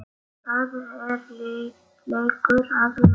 Það er leikur að læra